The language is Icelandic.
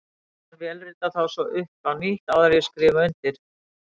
Stelpan vélritar þá svo upp á nýtt, áður en ég skrifa undir.